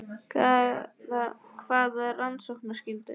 Hvaða rannsóknarskyldu?